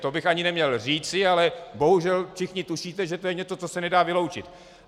To bych ani neměl říci, ale bohužel všichni tušíte, že to je něco, co se nedá vyloučit.